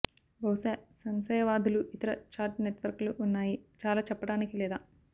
బహుశా సంశయవాదులు ఇతర చాట్ నెట్వర్క్లు ఉన్నాయి చాలా చెప్పటానికి లేదా